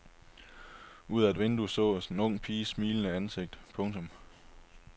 Ud af et vindue sås en ung piges smilende ansigt. punktum